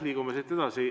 Liigume edasi.